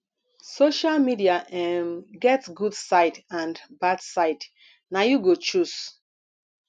social media um get good side and bad side na you go choose